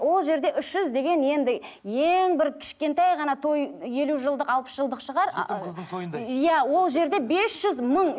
ол жерде үш жүз деген енді ең бір кішкентай ғана той елу жылдық алпыс жылдық шығар ыыы жетім қыздың тойындай иә ол жерде бес жүз мың